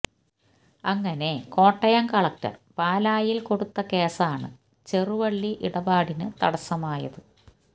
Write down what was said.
അങ്ങനെ കോട്ടയം കളക്ടര് പാലായില് കൊടുത്ത കേസാണ് ചെറുവള്ളി ഇടപാടിന് തടസമായത്